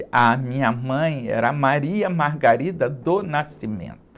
A minha mãe era.